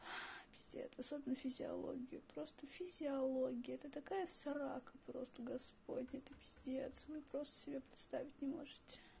пиздец особенно физиологию просто физиология это такая срака просто господня это пиздец вы просто себе представить не можете